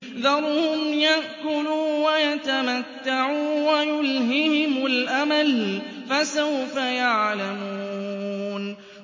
ذَرْهُمْ يَأْكُلُوا وَيَتَمَتَّعُوا وَيُلْهِهِمُ الْأَمَلُ ۖ فَسَوْفَ يَعْلَمُونَ